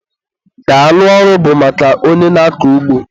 Daalụ ọrụ bụ maka onye na-akọ ugbo